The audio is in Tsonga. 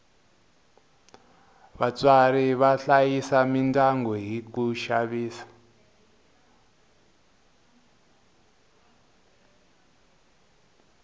vatswari va hlayisa midyangu hi ku xavisa